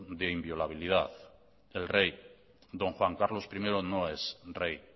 de inviolabilidad el rey don juan carlos primero no es rey